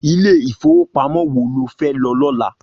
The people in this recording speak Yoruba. Ilé ifówópámò wó ló fè lò lòlá?